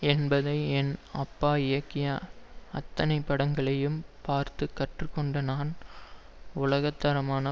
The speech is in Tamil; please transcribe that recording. என்பதை என் அப்பா இயக்கிய அத்தனை படங்களையும் பார்த்து கற்று கொண்ட நான் உலக தரமான